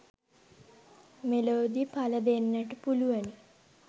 මෙලොවදී පල දෙන්නට පුළුවනි